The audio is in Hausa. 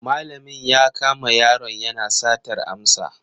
Malamin ya kama yaron yana satar amsa.